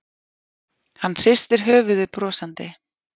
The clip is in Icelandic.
Hann hristir höfuðið brosandi.